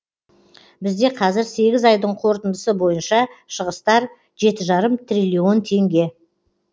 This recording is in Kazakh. бізде қазір сегіз айдың қорытындысы бойынша шығыстар жеті жарым триллион теңге